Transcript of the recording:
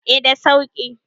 eh da sauki